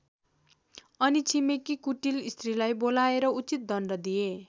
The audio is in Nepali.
अनि छिमेकी कुटिल स्त्रीलाई बोलाएर उचित दण्ड दिए।